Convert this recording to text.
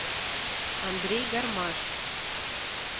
андрей гармаш